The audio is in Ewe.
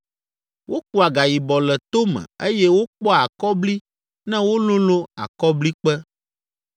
Wokua gayibɔ le tome eye wokpɔa akɔbli ne wololõ akɔblikpe.